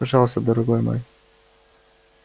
пожалуйста дорогой мой